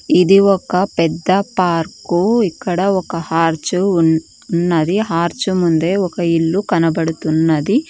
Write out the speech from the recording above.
ఇది ఒక పెద్ద పార్కు ఇక్కడ ఒక హార్చ్ ఉన్ ఉన్నది హార్చ్ ముందే ఒక ఇల్లు కనబడుతున్నది.